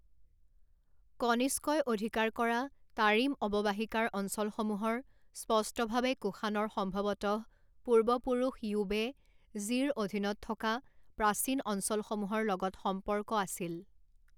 কনিষ্কই অধিকাৰ কৰা তাৰিম অৱবাহিকাৰ অঞ্চলসমূহৰ স্পষ্টভাৱে কুষাণৰ সম্ভৱতঃ পূৰ্বপুৰুষ য়ুৱে জীৰ অধীনত থকা প্ৰাচীন অঞ্চলসমূহৰ লগত সম্পৰ্ক আছিল।